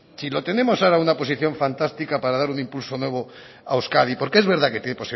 si lo tenemos ahora en una posición fantástica para dar un impulso nuevo a euskadi porque es verdad que tiene